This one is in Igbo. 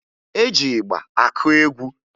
E ji ịgba akụ egwu